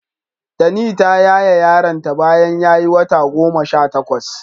Tani ta yaye yaronta bayan ya yi wata goma sha takwas.